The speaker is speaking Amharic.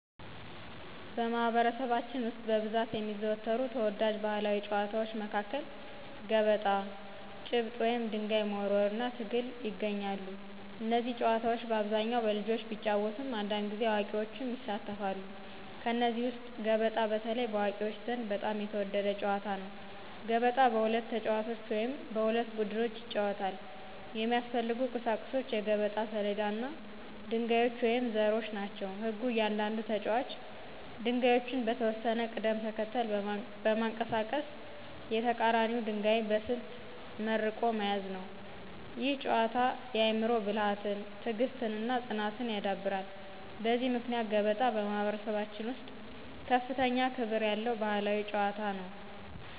በማኅበረሰባችን ውስጥ በብዛት የሚዘወተሩ ተወዳጅ ባሕላዊ ጨዋታዎች መካከል ገበጣ፣ ጭብጥ (ድንጋይ መወርወር) እና ትግል ይገኛሉ። እነዚህ ጨዋታዎች በአብዛኛው በልጆች ቢጫወቱም አንዳንድ ጊዜ አዋቂዎችም ይሳተፋሉ። ከእነዚህ ውስጥ ገበጣ በተለይ በአዋቂዎች ዘንድ በጣም የተወደደ ጨዋታ ነው። ገበጣ በሁለት ተጫዋቾች ወይም በሁለት ቡድኖች ይጫወታል። የሚያስፈልጉት ቁሳቁሶች የገበጣ ሰሌዳ እና ድንጋዮች ወይም ዘሮች ናቸው። ሕጉ እያንዳንዱ ተጫዋች ድንጋዮቹን በተወሰነ ቅደም ተከተል በማንቀሳቀስ የተቀራኒውን ድንጋይ በስልት መርቆ መያዝ ነው። ይህ ጨዋታ የአእምሮ ብልሃትን፣ ትዕግሥትን እና ፅናትን ያዳብራል። በዚህ ምክንያት ገበጣ በማኅበረሰባችን ውስጥ ከፍተኛ ክብር ያለው ባሕላዊ ጨዋታ ነው።